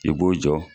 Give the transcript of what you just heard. I b'o jɔ